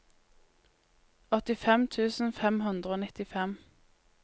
åttifem tusen fem hundre og nittifem